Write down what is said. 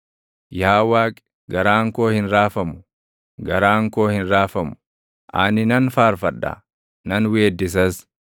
Yaa Waaqi, garaan koo hin raafamu; garaan koo hin raafamu; ani nan faarfadha; nan weeddisas.